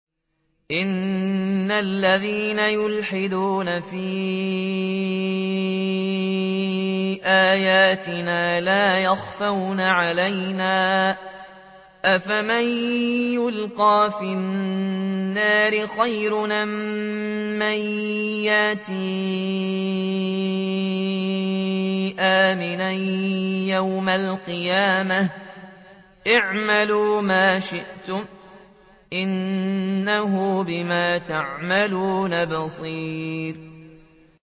إِنَّ الَّذِينَ يُلْحِدُونَ فِي آيَاتِنَا لَا يَخْفَوْنَ عَلَيْنَا ۗ أَفَمَن يُلْقَىٰ فِي النَّارِ خَيْرٌ أَم مَّن يَأْتِي آمِنًا يَوْمَ الْقِيَامَةِ ۚ اعْمَلُوا مَا شِئْتُمْ ۖ إِنَّهُ بِمَا تَعْمَلُونَ بَصِيرٌ